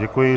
Děkuji.